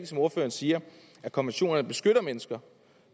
som ordføreren siger at konventionerne beskytter mennesker